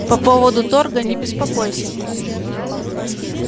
по поводу торга не беспокойся